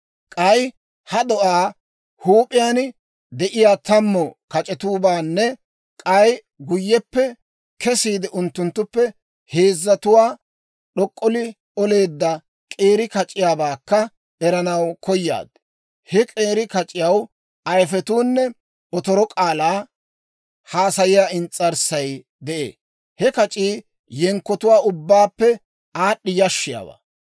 K'ay ha do'aa huup'iyaan de'iyaa tammu kac'etuwaabaanne k'ay guyyeppe kesiide, unttunttuppe heezzatuwaa d'ok'olli oleedda k'eeri kac'iyaabaakka eranaw koyaad. He k'eeri kac'iyaw ayifetuunne otoro k'aalaa haasayiyaa ins's'arssay de'ee. He kac'ii yenkkotuwaa ubbaappe aad'd'i yashshiyaawaa.